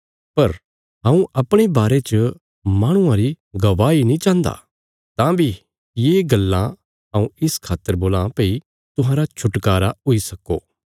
पर हऊँ अपणे बारे च माहणुआ री गवाही नीं चाहन्दा तां बी ये गल्लां हऊँ इस खातर बोलां भई तुहांरा छुटकारा हुई सक्को